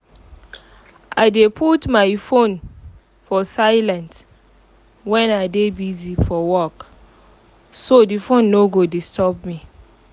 i dey put um my phone for silent when i dey busy for work so the phone no go disturb me